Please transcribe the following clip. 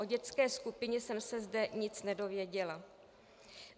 O dětské skupině jsem se zde nic nedozvěděla.